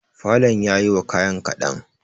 falon yayi wa kayan kaɗan.